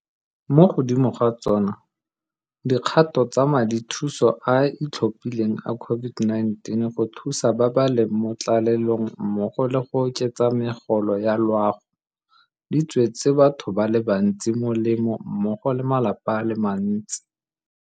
Mo godimo ga tsona, dikgato tsa Madithuso a a Itlhophileng a COVID-19 go Thusa ba ba leng mo Tlalelong mmogo le go oketsa megolo ya loago di tswetse batho ba le bantsi molemo mmogo le malapa a le mantsi.